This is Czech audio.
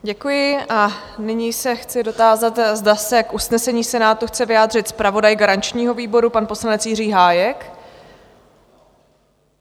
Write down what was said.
Děkuji a nyní se chci dotázat, zda se k usnesení Senátu chce vyjádřit zpravodaj garančního výboru, pan poslanec Jiří Hájek?